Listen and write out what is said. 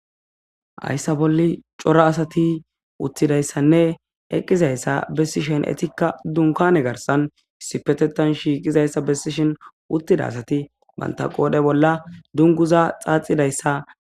Hayisani xelishini betizayisi hayisa bola cora asati utizayisanne eqizayisa etikka dunikkanne garisani issippetethani shiqidayisa besishini utida asati banitappe qodhe bola duniguza xaaxidayisa